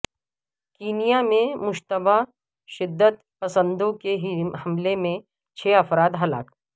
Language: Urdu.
کینیا میں مشتبہ شدت پسندوں کے حملہ میں چھ افراد ہلاک